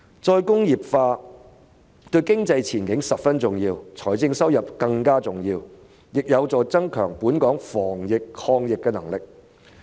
再工業化對經濟前景十分重要，對財政收入更為重要，亦有助加強本港防疫抗疫的能力。